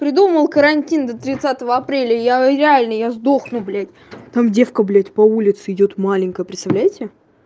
придумал карантин до тридцатого апреля я реально я сдохну блять там девка блять по улице идёт маленькая представляете